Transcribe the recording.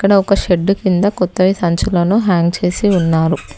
ఇక్కడ ఒక షెడ్డు కింద కొత్తవి సంచులను హ్యాంగ్ చేసి ఉన్నారు.